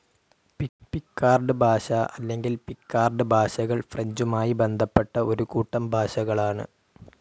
Picard ഭാഷ അല്ലെങ്കിൽ Picard ഭാഷകൾ ഫ്രഞ്ചുമായി ബന്ധപ്പെട്ട ഒരു കൂട്ടം ഭാഷകളാണ്.